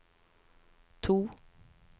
to